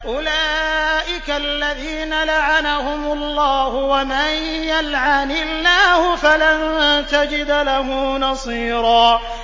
أُولَٰئِكَ الَّذِينَ لَعَنَهُمُ اللَّهُ ۖ وَمَن يَلْعَنِ اللَّهُ فَلَن تَجِدَ لَهُ نَصِيرًا